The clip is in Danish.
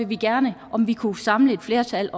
vi gerne om vi kunne samle et flertal